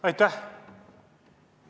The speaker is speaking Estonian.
Aitäh!